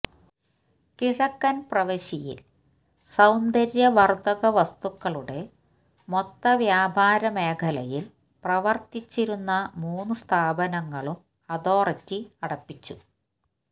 കിഴക്കൻ പ്രവിശ്യയിൽ സൌന്ദര്യവർധക വസ്തുക്കളുടെ മൊത്ത വ്യാപാര മേഖലയിൽ പ്രവർത്തിച്ചിരുന്ന മൂന്നു സ്ഥാപനങ്ങളും അതോറിറ്റി അടപ്പിച്ചു